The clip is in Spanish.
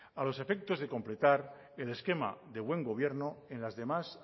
a los efectos de completar el esquema de buen gobierno en las demás